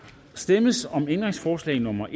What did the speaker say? stemmes om ændringsforslag nummer